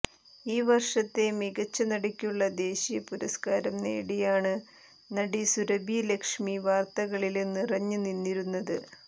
ഈ വര്ഷത്തെ മികച്ച നടിയ്ക്കുള്ള ദേശീയ പുരസ്കാരം നേടിയാണ് നടി സുരഭി ലക്ഷ്മി വാര്ത്തകളില് നിറഞ്ഞ് നിന്നിരുന്നത്